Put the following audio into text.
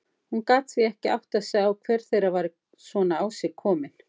Hún gat því ekki áttað sig á hver þeirra var svona á sig komin.